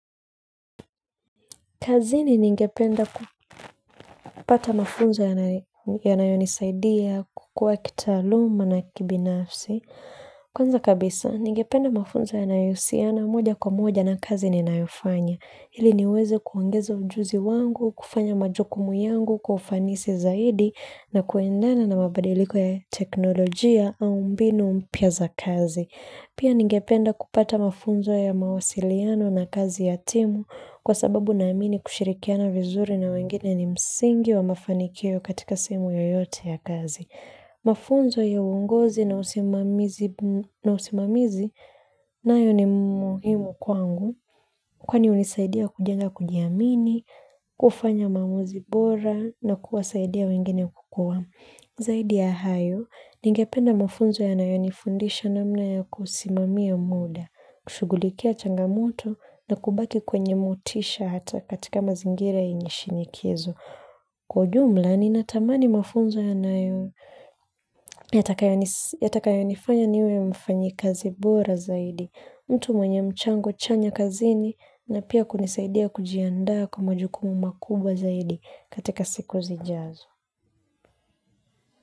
Kazini ningependa kupata mafunzo yanayonisaidia, kukua kitaaluma na kibinafsi. Kwanza kabisa, ningependa mafunzo yanahusiana moja kwa moja na kazi ninayofanya. Ili niweze kuongeza ujuzi wangu, kufanya majukumu yangu, kwa ufanisi zaidi, na kuendana na mabadiliko ya teknolojia au mbinu mpya za kazi. Pia ningependa kupata mafunzo ya mawasiliano na kazi ya timu kwa sababu naamini kushirikiana vizuri na wengine ni msingi wa mafanikio katika sehemu yoyote ya kazi mafunzo ya uongozi na usimamizi nayo ni muhimu kwangu kwani hunisaidia kujenga kujiamini, kufanya maamuzi bora na kuwasaidia wengine kukua. Zaidi ya hayo, ningependa mafunzo yanayonifundisha namna ya kusimamia muda, kushugulikia changamoto na kubaki kwenye motisha hata katika mazingira yenye shinikizo. Kwa ujumla, ninatamani mafunzo yanayo yatakayonifanya niwe mfanyi kazi bora zaidi, mtu mwenye mchango chanya kazini na pia kunisaidia kujiandaa kwa majukumu makubwa zaidi katika siku zijazo.